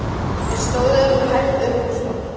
Við stóðum hægt upp úr stólunum.